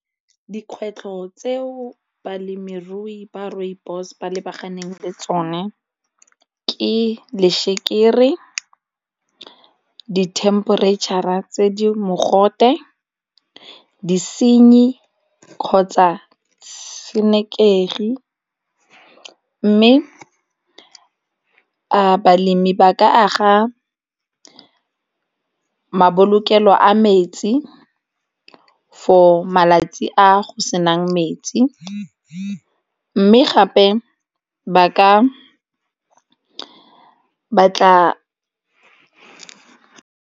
Dikgwetlho tseo balemirui ba rooibos ba lebaganeng le tsone ke lešekere, dithemperetšhara tse di mogote, disenyi kgotsa tshenekegi, mme a balemi ba ka aga mabolokelo a metsi for malatsi a go senang mets mme gape ba ka batla.